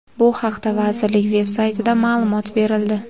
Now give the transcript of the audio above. Bu haqda vazirlik veb-saytida ma’lumot berildi.